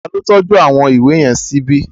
Ta ló tọ́jú àwọn ìwé yẹn síbi?